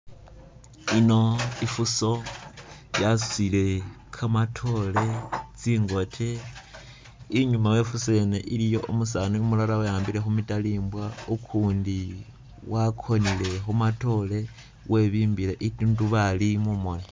Ino ifuso yasutile kamatoore tsingote inyuma we ifuso yene iliyo umusani umulala weyambile khu mitalimbwa ukundi wakonele khumatoore webimbile itundubali mumoni